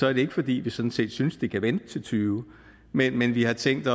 er det ikke fordi vi sådan set synes det kan vente til og tyve men men vi har tænkt